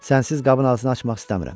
Sənsiz qabın ağzını açmaq istəmirəm.